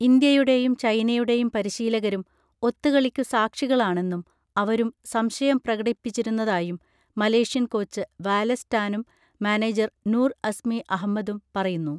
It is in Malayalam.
ഇന്ത്യയുടെയും ചൈനയുടെയും പരിശീലകരും ഒത്തുകളിക്കു സാക്ഷികളാണെന്നും അവരും സംശയം പ്രകടിപ്പിച്ചിരുന്നതായും മലേഷ്യൻ കോച്ച് വാലസ് ടാനും മാനേജർ നൂർ അസ്മി അഹ്മ്മദും പറയുന്നു